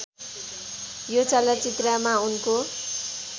यो चलचित्रमा उनको